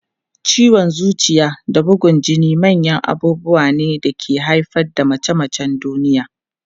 Ciwon zuciya da bugun jini manyan abubuwa ne da ke haifar da mace-macen duniya.